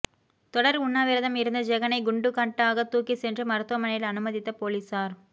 தொடர் உண்ணாவிரதம் இருந்த ஜெகனை குண்டுகட்டாக தூக்கிச் சென்று மருத்துவமனையில் அனுமதித்த போலீசார்